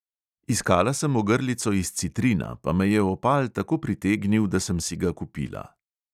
Iskala sem ogrlico iz citrina, pa me je opal tako pritegnil, da sem si ga kupila.